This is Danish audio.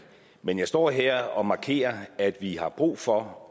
men jeg står her og markerer at vi har brug for